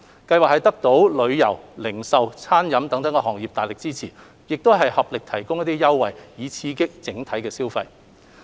計劃得到旅遊、零售及餐飲業界大力支持，合力提供優惠，以刺激整體消費。